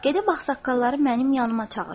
Gedib ağsaqqalları mənim yanıma çağır.